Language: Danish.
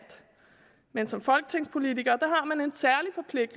men som folketingspolitiker